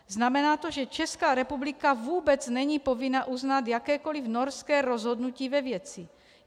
Znamená to, že Česká republika vůbec není povinna uznat jakékoli norské rozhodnutí ve věci.